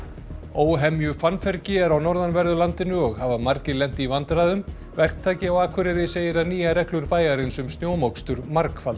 óhemju fannfergi er á norðanverðu landinu og hafa margir lent í vandræðum verktaki á Akureyri segir að nýjar reglur bæjarins um snjómokstur